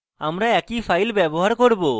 আমি একই ফাইল ব্যবহার করব